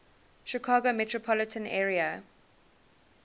chicago metropolitan area